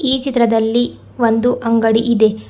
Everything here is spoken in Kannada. ಈ ಚಿತ್ರದಲ್ಲಿ ಒಂದು ಅಂಗಡಿ ಇದೆ.